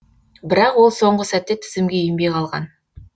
бірақ ол соңғы сәтте тізімге енбей қалған